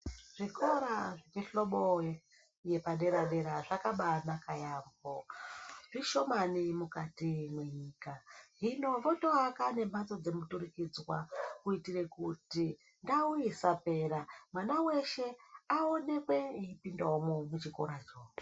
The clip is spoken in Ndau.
Zvikora zvemuhlobo yepadera dera zvakaba anaka yeyamho, zvishomani mukati mwenyika, hino potoaka nemhatso dzemuturikidzwa kuitire kuti ndau isapera, mwana weshe aonekwe eipindawomwo muchikoracho.